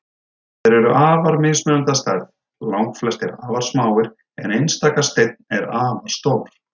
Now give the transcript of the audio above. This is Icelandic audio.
Þeir eru afar mismunandi að stærð, langflestir afar smáir en einstaka steinn er afar stór.